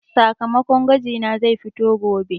Sakamakon gwaji na zai fito gobe.